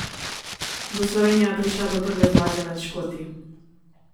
Bo Slovenija prišla do prve zmage nad Škoti?